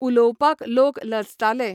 उलोवपाक लोक लजताले